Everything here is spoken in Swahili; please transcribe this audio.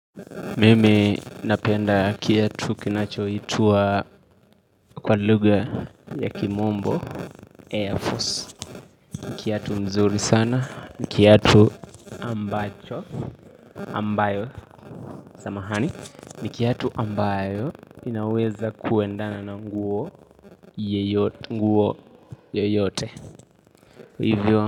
Mimi napenda kiatu kinachoitwa kwa lugha ya kimombo Air Force. Kiatu mzuri sana, ni kiatu ambacho, ambayo samahani. Ni kiatu ambayo inaweza kuendana na nguo yoyote. Hivyo.